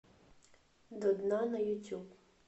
до дна на ютюб